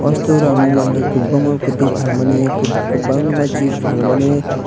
o store o ang nogmangkha kotoi falmani kobangma chips falmani.